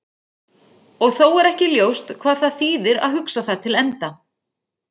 Og þó er ekki ljóst hvað það þýðir að hugsa það til enda.